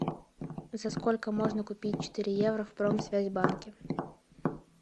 за сколько можно купить четыре евро в промсвязьбанке